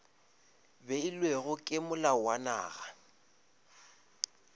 beilwego ke molao wa naga